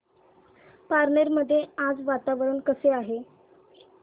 पारनेर मध्ये आज वातावरण कसे आहे